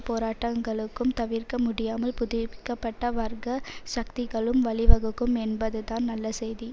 போராட்டங்களுக்கும் தவிர்க்க முடியாமல் புதுப்பிக்க பட்ட வர்க்க சக்திகளும் வழிவகுக்கும் என்பதுதான் நல்ல செய்தி